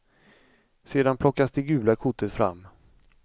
Sedan plockas det gula kortet fram.